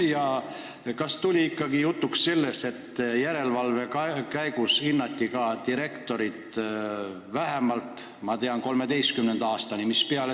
Ja kas tuli ikkagi jutuks, et järelevalve korras hinnati direktoreid minu teada vähemalt 2013. aastani?